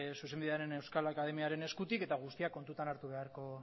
zuzenbidearen euskal akademiaren eskutik eta guztiak kontutan hartu beharko